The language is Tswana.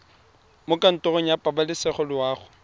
mo kantorong ya pabalesego loago